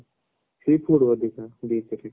seafood ଅଧିକ beach ରେ